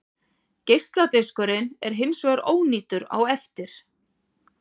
Geisladiskurinn er hins vegar ónýtur á eftir.